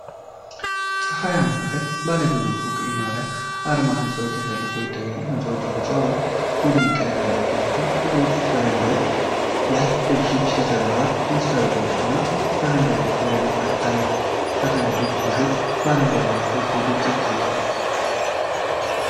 በፀሐያማ ቀን ባለብዙ ፎቅ የመኖሪያ አፓርታማ ህንፃዎች ተሰልፈው ይታያሉ። ህንፃዎቹ ቢጫ ወይም ቡኒ ቀለም ያላቸው ሲሆን፤ ብዙዎቹ በረንዳዎች ላይ ልብሶች ተሰቅለዋል። በመስኮቶቹና በረንዳዎቹ ላይ በርካታ የሳተላይት ዲሾችና አረንጓዴ ዛፎች በግልጽ ይታያሉ።